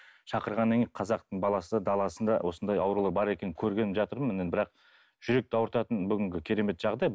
шақырғаннан кейін қазақтың баласы даласында осындай ауру бар екенін көргелі жатырмын енді бірақ жүректі ауыртатын бүгінгі керемет жағдай